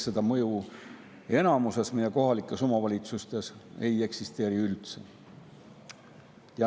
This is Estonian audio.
Seda mõju enamikus meie kohalikes omavalitsustes ei eksisteeri üldse.